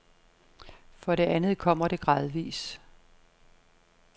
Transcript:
For det andet kommer det gradvis.